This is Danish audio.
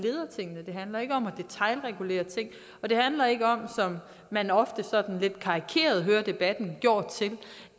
handler ikke om at detailregulere og det handler ikke om som man ofte sådan lidt karikeret hører debatten gjort til